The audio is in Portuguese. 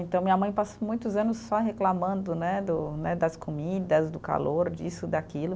Então, minha mãe passou muitos anos só reclamando né do, né das comidas, do calor, disso, daquilo.